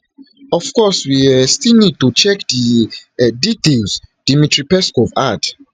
of course we um still need to check di um details dmitry peskov add